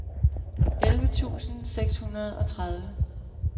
elleve tusind seks hundrede og tredive